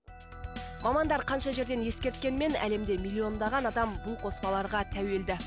мамандар қанша жерден ескерткенмен әлемде миллиондаған адам бұл қоспаларға тәуелді